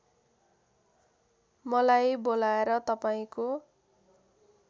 मलाई बोलाएर तपाईँको